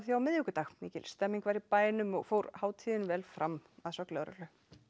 á miðvikudag mikil stemmning var í bænum og fór hátíðin vel fram að sögn lögreglu